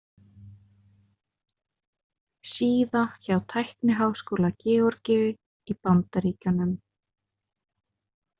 Síða hjá Tækniháskóla Georgíu í Bandaríkjunum.